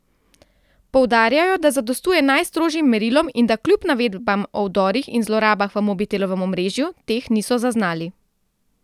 Poudarjajo, da zadostuje najstrožjim merilom in da kljub navedbam o vdorih in zlorabah v Mobitelovem omrežju teh niso zaznali.